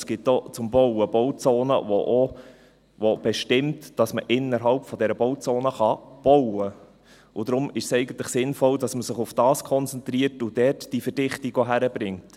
Es gibt zum Bauen auch Bauzonen, die bestimmen, dass man innerhalb dieser Bauzone bauen kann, und deshalb ist es eigentlich sinnvoll, dass man sich auf das konzentriert, und auch dort die Verdichtung hinbringt.